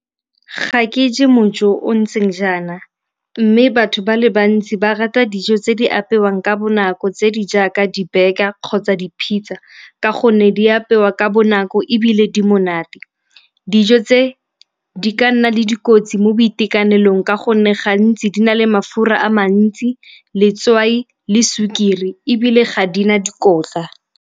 Ga ke je mo o o ntseng jaana mme batho ba le bantsi ba rata dijo tse di apewang ka bonako tse di jaaka di-burger kgotsa di-pizza ka gonne di apewa ka bonako ebile le di monate. Dijo tse di ka nna le dikotsi mo boitekanelong ka gonne gantsi di na le mafura a mantsi, letswai le sukiri ebile ga di na dikotla.